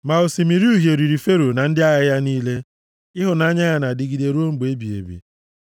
Ma Osimiri Uhie riri Fero na ndị agha ya niile; Ịhụnanya ya na-adịgide ruo mgbe ebighị ebi.